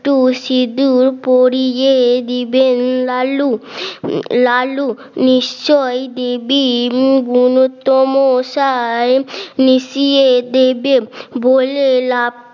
একটু সিদূর পড়িয়ে দিবেন লালু লালু নিশ্চয়ই দিবি বুনোত্ত মশাই মিশিয়ে দেবে বলে লাফ